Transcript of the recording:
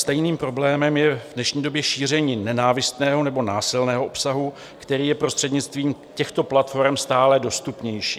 Stejným problémem je v dnešní době šíření nenávistného nebo násilného obsahu, který je prostřednictvím těchto platforem stále dostupnější.